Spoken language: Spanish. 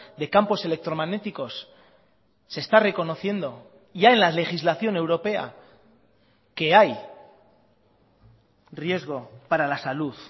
de campos electromagnéticos se está reconociendo ya en la legislación europea que hay riesgo para la salud